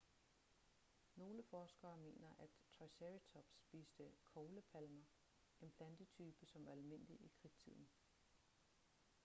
nogle forskere mener at triceratops spiste koglepalmer en plantetype som var almindelig i kridttiden